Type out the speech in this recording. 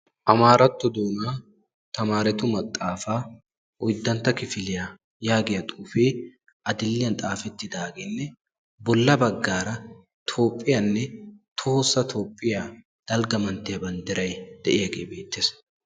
Amaaratto doonaa tamaaretu maxaafaa oydantta kifiliyaa yaagiya xuufee adil"iyan xaafettidaagenne bolla baggaara Toophphiyanne tohossa Toophphiyaa dalgga manttiya banddiray de'iyaagee beettes.